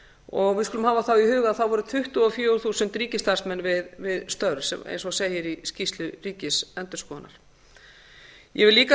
og við skulum hafa þá í huga að það voru tuttugu og fjögur þúsund ríkisstarfsmenn við störf eins og segir í skýrslu ríkisendurskoðunar ég vil líka